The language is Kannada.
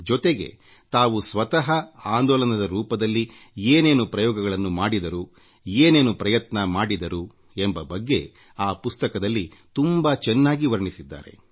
ಜೊತೆಗೆ ತಾವು ಸ್ವತಃ ಆಂದೋಲನದ ರೂಪದಲ್ಲಿ ಏನೇನು ಪ್ರಯೋಗಗಳನ್ನು ಮಾಡಿದರುಏನೇನು ಪ್ರಯತ್ನ ಮಾಡಿದರು ಎಂಬ ಬಗ್ಗೆ ಆ ಪುಸ್ತಕದಲ್ಲಿ ತುಂಬಾ ಚೆನ್ನಾಗಿ ವರ್ಣಿಸಿದ್ದಾರೆ